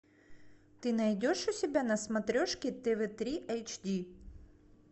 ты найдешь у себя на смотрешке тв три эйч ди